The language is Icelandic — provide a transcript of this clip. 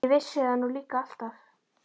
Ég vissi það nú líka alltaf!